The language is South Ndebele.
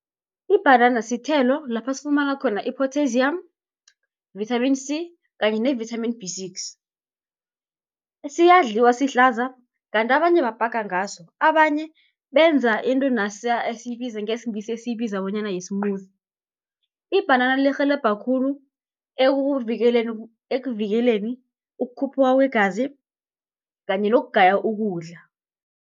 Ibhanana sithelo lapha sifumana khona i-potassium, vitamin C kanye ne-vitamin B six, siyadliwa sihlaza kanti abanye babhaga ngaso. Abanye benza into nasiya ngesiNgisi esiyibiza bonyana yi-smoothie. Ibhanana lirhelebha khulu ekuvikeleni ukukhuphuka kwegazi kanye nokugaya ukudla.